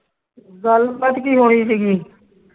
ਗੱਲਬਾਤ ਕੀ ਹੋਣੀ ਸੀ ਕਿ